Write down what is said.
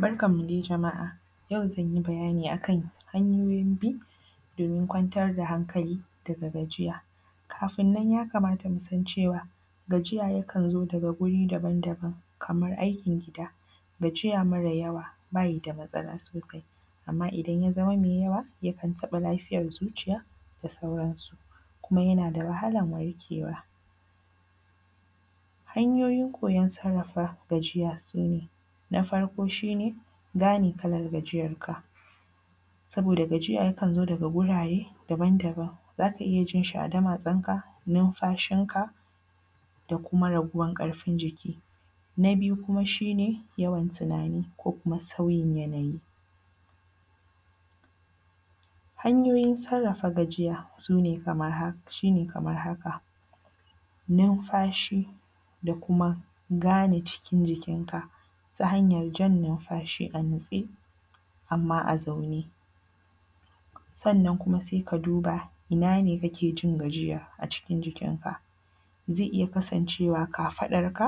Barkan mu dai jama’a, yau zan yi bayani akan hanyoyin bi domin kwantar da hankali daga gajiya, kafin nan ya kamata mu san cewa gajiya yakan zo daga guri daban-daban kamar aikin gida gajiya mara yawa bayi da matsala sosai amma idan ya zama mai yawa yakan taɓa lafiyar zuciya da sauran su, kuma yana da wahalar wanke wa. Hanyoyin koyan sarafa gajiya sune, na farko shine gane kalar gajiyan ka saboda gajiya yaka zo daga wurare daban-daban zaka iya jinsa a damatsanka, nunfashin ka da kuma raguwar karfin jiki, na biyu kuma shi ne yawan tunani ko kuma sauyin yanayi, hanyoyin sarafa gajiya shi ne kamar haka, nunfashi da kuma gane cikin jikin ka ta hanyar jan nunfashi a natse amma a zaune, sannan kuma sai ka duba ina ne kake jin gajiya a cikin jikin ka zai iya kasanshewa kafaɗan ka